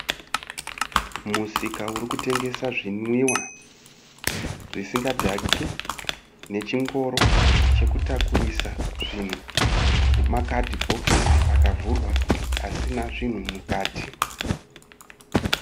Musika urikutengesa zvinwiwa zvisingadhaki nechingoro chekutakurisa zvinhu, nema cardibokisi akavhurwa asina zvinhu mukati.